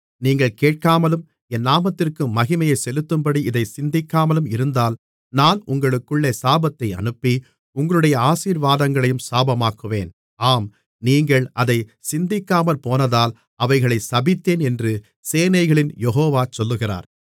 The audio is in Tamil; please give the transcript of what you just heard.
நீங்கள் கேட்காமலும் என் நாமத்திற்கு மகிமையைச் செலுத்தும்படி இதைச் சிந்திக்காமலும் இருந்தால் நான் உங்களுக்குள்ளே சாபத்தை அனுப்பி உங்களுடைய ஆசீர்வாதங்களையும் சாபமாக்குவேன் ஆம் நீங்கள் அதைச் சிந்திக்காமற்போனதால் அவைகளைச் சபித்தேன் என்று சேனைகளின் யெகோவா சொல்லுகிறார்